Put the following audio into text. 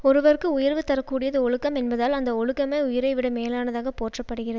ஒருவர்க்கு உயர்வு தர கூடியது ஒழுக்கம் என்பதால் அந்த ஒழுக்கமே உயிரைவிட மேலானதாகப் போற்றப்படுகிற